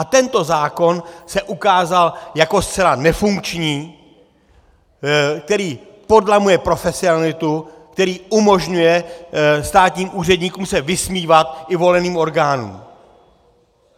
A tento zákon se ukázal jako zcela nefunkční, který podlamuje profesionalitu, který umožňuje státním úředníkům se vysmívat i voleným orgánům.